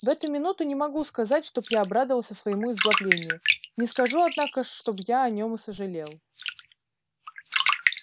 в эту минуту не могу сказать чтоб я обрадовался своему избавлению не скажу однако ж чтоб я о нем и сожалел